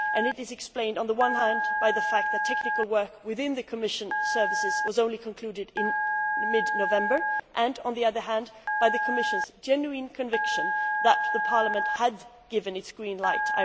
This is explained, on the one hand, by the fact that technical work within the Commission's departments was only concluded in mid November and, on the other, by the Commission's genuine conviction that Parliament had a priori given its green light.